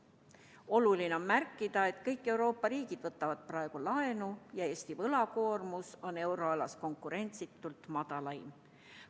Oluline on märkida, et kõik Euroopa riigid võtavad praegu laenu ja Eesti võlakoormus on euroalas konkurentsitult madalaim.